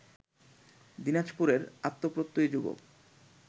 দিনাজপুরের আত্মপ্রত্যয়ী যুবক